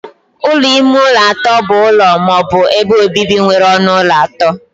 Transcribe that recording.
Ụlọ ime ụlọ atọ bụ ụlọ ma ọ bụ ebe obibi nwere ọnụ ụlọ atọ.